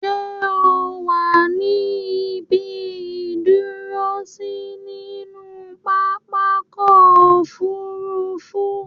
Ṣẹ́ o wà ní ibi ìdúrósí nínú pápákọ̀-òfurufú?